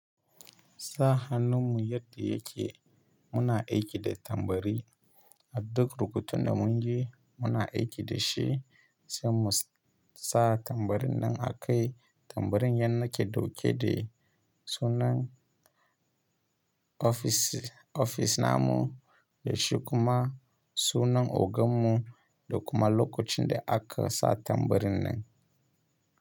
Sa hannunmu yadda yake muna aiki da tambari. A duk rubutun da muka yi muna aiki da shi, sai mu sa tambarin nan a kai tambarin nan shi yake dauke da sunan ofishinmu da shi kuma sunan ogan mu da kuma lokacin da aka sa tambarin nan.